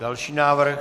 Další návrh.